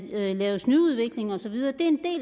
laves ny udvikling og så videre det